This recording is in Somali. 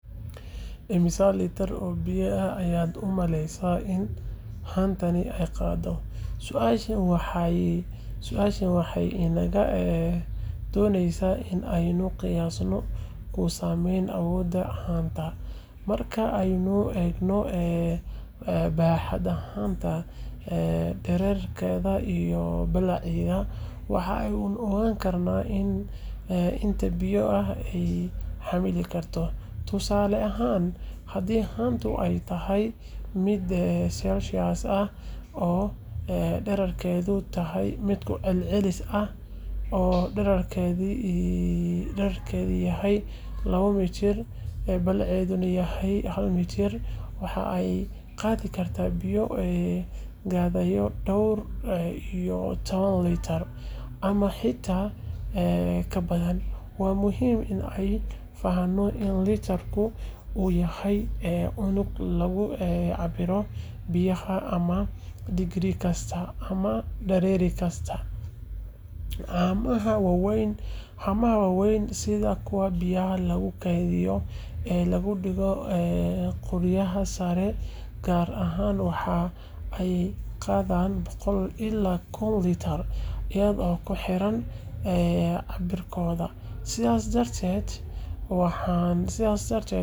Xaaladaha cimilada ee ay u badan tahay in ay sida ugu fiican u sameeyaan waa marka cimilo deggan ay jirto, heerkulka uu yahay mid dhexdhexaad ah oo aan aad u kululayn ama u qabowayn. Tusaale ahaan, marka daruuraha ay jiraan laakiin roobka uusan da’in, ama marka qorraxdu ay soo baxayso laakiin aanay kulayn xad-dhaaf ahayn. Dabaysha yartahay, hawaduna nadiif tahay, taasoo ka dhigaysa xaalad ku habboon hawlo dibadda ah sida socodka, ciyaaraha, ama dalxiiska. Cimilada noocan ah waxay sidoo kale faa’iido u leedahay beeraha, caafimaadka dadka, iyo xitaa niyadda qofka. Waxaa la ogyahay in marka cimiladu tahay mid daggan, dadka ay dareemaan farxad badan, hurdo fiican helaan, waxna si fiican u bartaan. Sidaas darteed, xaaladaha ugu fiican waa marka ay jirto heerkul dhexdhexaad ah, qoyaanku uu yar yahay, iftiinka qoraxduna uu yahay mid aan indhaha dhibin laakiin deeqsi ah. Tani waa sababta dadka badankood ay u doorbidaan cimilada guga ama dayrta, maxaa yeelay xilliyadaas ayaa lagu arkaa cimilada ugu macaan uguna saameynta wanaagsan.